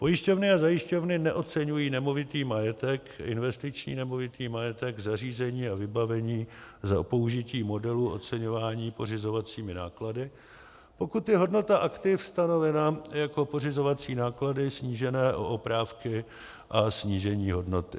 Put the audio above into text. Pojišťovny a zajišťovny neoceňují nemovitý majetek, investiční nemovitý majetek, zařízení a vybavení za použití modelů oceňování pořizovacími náklady, pokud je hodnota aktiv stanovena jako pořizovací náklady snížené o oprávky a snížení hodnoty.